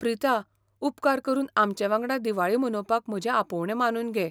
प्रिता, उपकार करून आमचे वांगडा दिवाळी मनोवपाक म्हजें आपोवणें मानून घे.